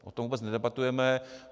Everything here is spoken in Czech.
O tom vůbec nedebatujeme.